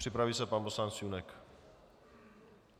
Připraví se pan poslanec Junek.